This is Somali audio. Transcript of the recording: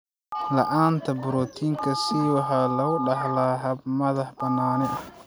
La'aanta borotiinka C waxaa lagu dhaxlaa hab madax-bannaani ah.